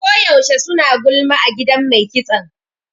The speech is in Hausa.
Ko yaushe suna gulma a gidan mai kitson.